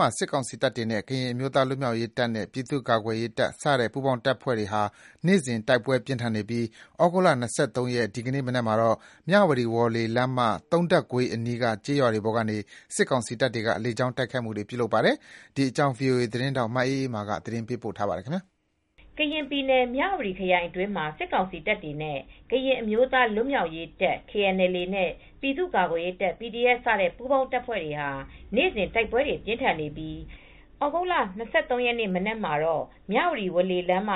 မှာ စစ်ကောင်စီတပ်တွေနဲ့ ကရင်အမျိုးသား လွတ်မြောက်ရေးတပ်နဲ့ ပြည်သူ့ ကာကွယ်ရေး ပူးပေါင်းတပ်ဖွဲ့တွေကြား နေ့စဉ် တိုက်ပွဲတွေ ပြင်းထန်နေပါတယ်။ ဒီကနေ့ သြဂုတ်လ၂၃ ရက်နေ့ မနက်မှာတော့ မြဝတီ ဝေါ်လေလမ်းမ သုံးထပ်ကွေးအနီးက ကျေးရွာတွေပေါ်ကို စစ်ကောင်စီတပ်တွေက လေကြောင်းတိုက်ခိုက်ခဲ့တယ်လို့ ဒေသခံတွေက ပြောပါတယ်။ ထိုင်းအခြေစိုက် ဗွီအိုအေမြန်မာပိုင်း သတင်းထောက် မအေးအေးမာက သတင်း ပေးပို့ထားပါတယ်။ ကရင်ပြည်နယ် မြဝတီခရိုင်အတွင်းမှာ စစ်ကောင်စီတပ်တွေနဲ့ ကရင်အမျိုးသားလွတ်မြောက်ရေးတပ် KNLA နဲ့ ပြည်သူ့ကာကွယ်ရေးတပ် PDF စတဲ့ပူးပေါင်းတပ်ဖွဲ့တွေဟာ နေ့စဉ် တိုက်ပွဲတွေပြင်းထန်နေပြီး သြဂုတ်လ၂၃ ရက်နေ့ မနက်မှာတော့ မြဝတီ ဝေါ်လေ လမ်းမ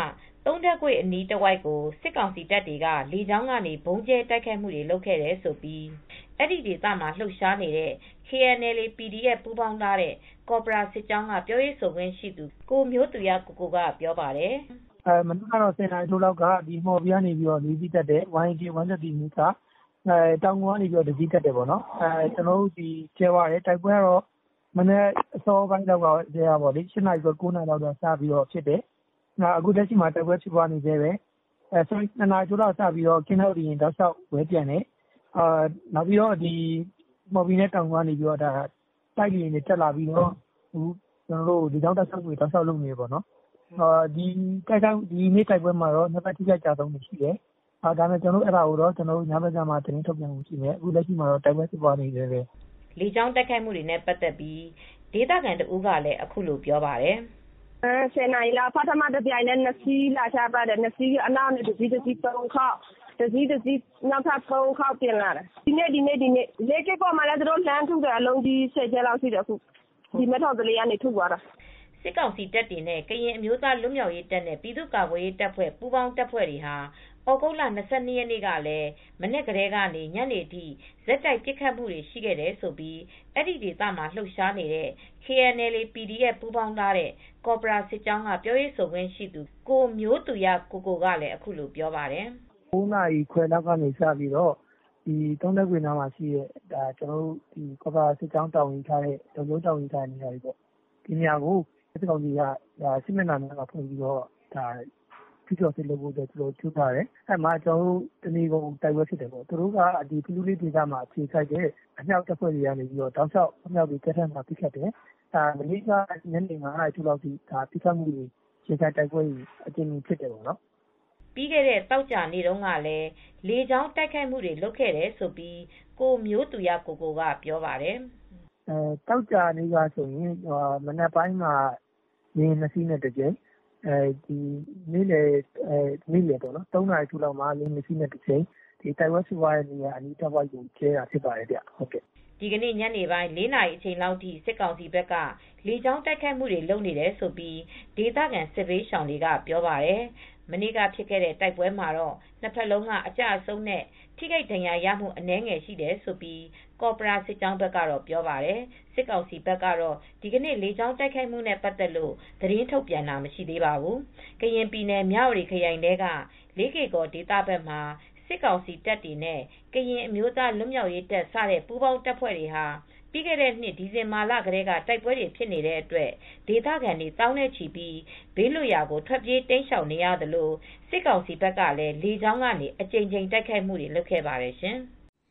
သုံးထပ်ကွေ့အနီးတဝိုက်ကို စစ်ကောင်စီတပ်တွေကလေကြောင်းကနေ ဗုံးကြဲတိုက်ခိုက်ခဲ့တယ်လို့ အဲဒီဒေသမှာလှုပ်ရှားနေတဲ့ KNLA /PDF ပူးပေါင်းထားတဲ့ ကော်ပရာစစ်ကြောင်းက ပြောရေးဆိုခွင့်ရှိသူ ကိုမျိုးသူရကိုကိုက ပြောပါတယ်။ “မနက် ၁၀ နာရီထိုးလောက်တော့ မှော်ဘီကနေ ၄ စီးတက်တယ်။ YAK 130 အမျိုးအစား တောင်ငူကနေ တစီးတက်တယ်။ တိုက်ပွဲကတော့ မနက် ၈ နာရီ ၉ နာရီလောက်ကတည်းက ဖြစ်နေတယ်။ နေလယ် ၂ နာရီထိုးလောက်ကနေစပြီးတော့ ကင်းထောက်လေ ယာဉ်တွေလည်း ဝဲပျံတယ်။ မှော်ဘီနဲ့တောင်ငူကနေ တိုက်လေယာဉ်တွေ တက်လာပြီးတော့ ကျနော်တို့ကို လေကြောင်းကနေ ဆက်တိုက်လုပ်နေတယ်။ နှစ်ဖက်အထိအခိုက်အကျအဆုံးတွေရှိတယ်။ သတင်းကတော့ ညဘက်ကျမှ ကျနော်တို့ ထုတ်ပြန်ပါမယ်။ အခုလောလောဆယ်တော့ တိုက်ပွဲတွေဖြစ်နေတုန်းပဲ။” လေကြောင်း တိုက်ခိုက်မှုတွေနဲ့ပတ်သက်ပြီး ဒေသခံတဦးကလည်း အခုလိုပြောပြပါတယ်။ “၁၀ နာရီလောက်က တပြိုင်တည်း ၂ စီးလာချတယ်။ နောက်ကတစီး၊ တစီး ၃ ခေါက်။ နောက်က တစီးတစီးနဲ့ ၃ ခေါက်လာတယ်။ ဒီနေ့ ဒီနေ့ပဲ။ လေးကေ့ကော်ဘက်ကိုလည်းအလုံးကြီး တွေနဲ့လှမ်းထုနေတယ်။ မဲထော်သလေးကျေးရွာဘက်ကနေ ၁၀ ကြိမ်လောက်ထုတယ်။” စစ်ကောင်စီတပ်တွေနဲ့ ကရင်အမျိုးသားလွတ်မြောက်ရေးတပ်နဲ့ ပြည်သူ့ကာကွယ်ရေးတပ်ဖွဲ့စတဲ့ ပူးပေါင်းတပ်တွေဟာ သြဂုတ်လ၂၂ ရက်နေ့ကလည်း မနက်ကနေ ညနေထိ ဆက်တိုက် ပစ်ခတ်နေခဲ့တယ်လို့ အဲဒီဒေသမှာလုှပ်ရှားနေတဲ့ KNLA /PDF ပူးပေါင်းထားတဲ့ ကော်ပရာစစ်ကြောင်းက ပြောရေးဆိုခွင့်ရှိသူ ကိုမျိုးသူရကိုကိုက အခုလိုပြောပါတယ်။ “၉ နာရီခွဲလောက်နေစပြီးတော့ သုံးထပ်ကွေ့နားမှာရှိတဲ့ ကျနော်တို့ ကော်ပရာစစ်ကြောင်းတာဝန်ယူထားတဲ့ လုံခြုံရေးတာဝန်ယူထားတဲ့နေရာတွေကို စစ်ကောင်စီဘက်ကနေ စစ် မျက်နှာဖွင့်ပြီး ကျုးကျော်တိုက်ခိုက်တယ်။ တနေကုန် တိုက်ပွဲဖြစ်တယ်။ ဖလူးဘက်မှာအခြေစိုက်တဲ့ သူတို့ရဲ့အမြောက်တပ်တွေကလည် အကြိမ်ကြိမ်ပစ်ခတ်ပါတယ်။ မနေ့ကတော့ ညနေ ၅ နာရီလောက်ထိ ပစ်ခတ်မှုတွေ၊ ရင်ဆိုင်တိုက်ပွဲတွေ အကြိမ်ကြိမ်ဖြစ်တယ်။” ပြီးခဲ့တဲ့သောကြာနေတုန်းကလည်း လေကြောင်းတိုက်ခိုက်မှုတွေလုပ်ခဲ့တယ်လို့ ကိုမျိုးသူရကိုကိုက ပြောပါတယ်။ “သောကြာနေ့ကတော့ မနက်ပိုင်းက လေယာဉ် ၂ စီးနဲ့တကြိမ်၊ နေလယ် ၃ နာရီထိုးလောက်က လေယာဉ်နှစ်စီးနဲ့တကြိမ် တိုက်ပွဲဖြစ်ပွားတဲ့နေရာအနီးတဝိုက်ကို ဗုံးကြဲတာဖြစ်ပါတယ်။” ဒီကနေ့ညနေပိုင်း ၄ နာရီအချိန်လောက်ထိ စစ်ကောင်စီဘက်က လေကြောင်းကနေ တိုက်ခိုက်ခဲတယ်လို့ ဒေသခံ စစ်ဘေးရှောင်တွေကပြောပါတယ်။ မနေ့ကဖြစ်တဲ့တိုက်ပွဲမှာတော့ နှစ်ဘက်လုံးက အကျအဆုံးနဲ့ထိခိုက်ဒဏ်ရာရတာ အနည်းငယ်ရှိတယ်လို့ ကော်ပရာစစ်ကြောင်းဘက်ကပြောပါတယ်။ စစ်ကောင်စီဘက်ကတော့ ဒီကနေ့ လေကြောင်းတိုက်ခိုက်မှုနဲ့ပတ်သက်လို့ သတင်းထုတ်ပြန်တာမရှိသေးပါဘူး။ ကရင်ပြည်နယ် မြဝတီခရိုင်ထဲက လေးကေ့ကော်ဒေသဘက်မှာ စစ်ကောင်စီတပ်တွေနဲ့ ကရင်အမျိုးသားလွတ်မြောက်ရေး တပ်စတဲ့ပူးပေါင်းတပ်ဖွဲ့တွေဟာ ပြီးခဲ့တဲ့နှစ် ဒီဇင်ဘာလကတည်းက တိုက်ပွဲတွေဖြစ်နေတဲ့အတွက် ဒေသခံတွေ သောင်းနဲ့ချီပြီး ဘေးလွတ်ရာကို ထွက်ပြေးတိမ်းရှောင်နေရသလို စစ်ကောင်စီဘက်ကလည်း လေကြောင်းကနေ အကြိမ်ကြိမ်တိုက်ခိုက်ခဲ့ပါတယ်ရှင်။